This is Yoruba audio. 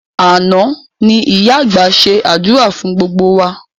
Àná ni ìyá àgbà ṣe àdúrà fún gbogbo wa